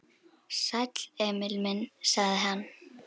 Sæll, Emil minn, sagði hann.